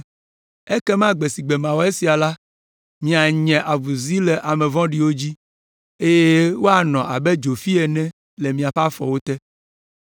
Ekema gbe si gbe mawɔ esia la, mianye avuzi le ame vɔ̃ɖiwo dzi, eye woanɔ abe dzofi ene le miaƒe afɔ te.